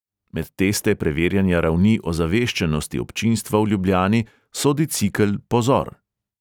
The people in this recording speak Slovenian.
Med teste preverjanja ravni ozaveščenosti občinstva v ljubljani sodi cikel pozor!